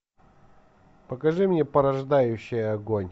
покажи мне порождающий огонь